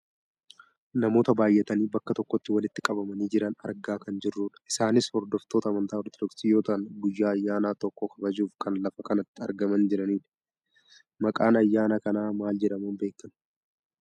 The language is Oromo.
Namoota baayyatanii bakka tokkotti walitti qabamanii jiran argaa kan jirrudha. Isaanis hordoftoota amantaa ortodoksi yoo ta'an guyyaa ayyaana tokkoo kabajuuf kan lafa kanatti argamaa jirandha. Maqaan ayyaana kanaa maal jedhamuun beekkama?